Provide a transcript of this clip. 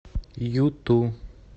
юту